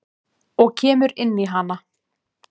Og kemur inn í hana.